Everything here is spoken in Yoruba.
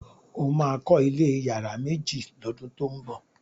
o ma kò ilé iyare méjì ló dun to ñbo!